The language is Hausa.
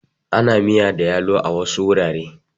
Ana miya da yalo a wasu wurare.